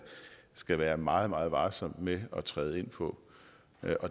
skal være meget meget varsom med at træde ind på